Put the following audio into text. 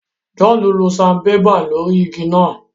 John lo Sanbébà lórí ìgi náà